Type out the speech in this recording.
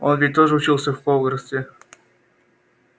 он ведь тоже учился в хогвартсе